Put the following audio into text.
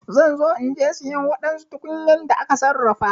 Zan zo inje siyan wadansu tukunyan da aka sarrafa.